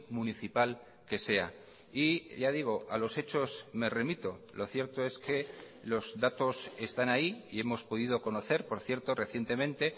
municipal que sea y ya digo a los hechos me remito lo cierto es que los datos están ahí y hemos podido conocer por cierto recientemente